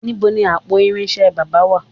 Níbo ni àpò irinṣẹ́ baba wà?